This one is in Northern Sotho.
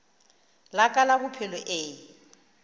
la ka la bophelo e